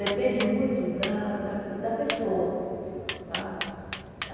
Depende muito da da pe da pessoa. A